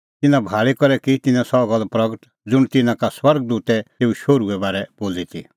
तिन्नां भाल़ी करै की तिन्नैं सह गल्ल प्रगट ज़ुंण तिन्नां का स्वर्ग दूतै तेऊ शोहरूए बारै बोली ती